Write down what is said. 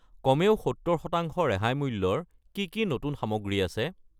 কমেও 70 % ৰেহাই মূল্যৰ কি কি নতুন সামগ্ৰী আছে?